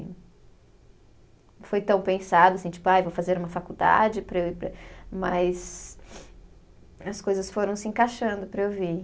Não foi tão pensado, assim, tipo, ai vou fazer uma faculdade para eu ir para. Mas as coisas foram se encaixando para eu vir.